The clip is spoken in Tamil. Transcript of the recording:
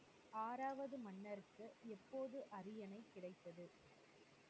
ஆறாவது மன்னருக்கு எப்போது அரியணை கிடைத்தது?